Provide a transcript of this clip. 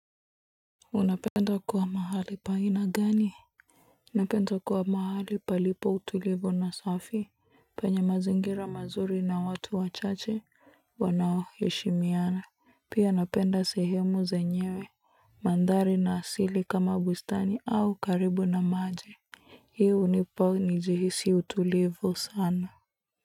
Unapenda kuwa mahali pa aina gani? Ninapenda kuwa mahali palipo na utulivu na safi penye mazingira mazuri na watu wachache wanaoheshimiana. Pia napenda sehemu zenye mandhari na asili kama bustani au karibu na maji. Hii hunipa nijihisi utulivu sana.